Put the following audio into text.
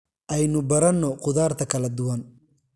Aynu baranno khudaarta kala duwan.